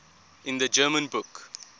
in the german book